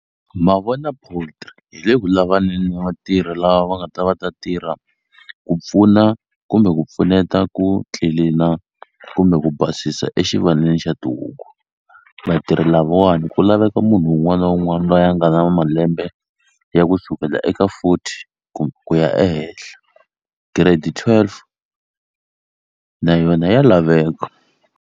Ma vona hi le ku lavaneni na vatirhi lava va nga ta va ta tirha ku pfuna kumbe ku pfuneta ku tlilina kumbe ku basisa exivandleni xa tihuku vatirhi lavawani ku laveka munhu wun'wana na wun'wani loyi a nga na malembe ya kusukela eka forty ku ku ya ehenhla grade twelve na yona ya laveka.